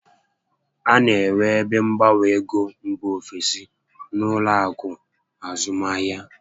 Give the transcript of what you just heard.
A na enwe ebe mgbanwe égo mbà ofesi n'ụlọ akụ azụmahịa